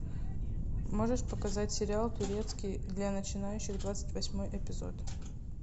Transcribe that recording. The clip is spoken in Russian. можешь показать сериал турецкий для начинающих двадцать восьмой эпизод